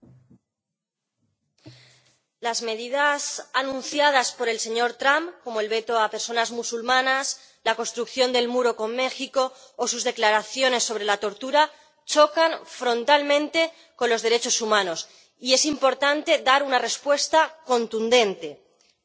Señor presidente, las medidas anunciadas por el señor Trump, como el veto a personas musulmanas, la construcción del muro con México o sus declaraciones sobre la tortura chocan frontalmente con los derechos humanos y es importante dar una respuesta contundente, pero sin hipocresías.